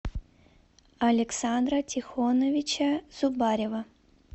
александра тихоновича зубарева